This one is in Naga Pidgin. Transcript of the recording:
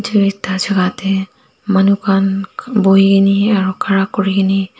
etu eta jaga deh manu khan bhuikine aro karakurikine--